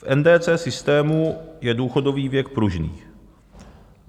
V NDC systému je důchodový věk pružný.